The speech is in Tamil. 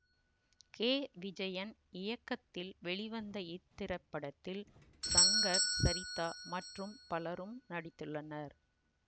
கே விஜயன் இயக்கத்தில் வெளிவந்த இத்திரைப்படத்தில் சங்கர் சரிதா மற்றும் பலரும் நடித்துள்ளனர்